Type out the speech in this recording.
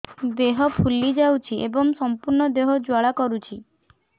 ଦେହ ଫୁଲି ଯାଉଛି ଏବଂ ସମ୍ପୂର୍ଣ୍ଣ ଦେହ ଜ୍ୱାଳା କରୁଛି